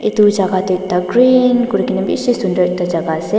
edu jaka tu green kurikaena bishi sunder ekta jaka ase.